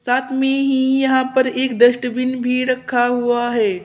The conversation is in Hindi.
में ही यहां पर एक डस्टबिन भी रखा हुआ है।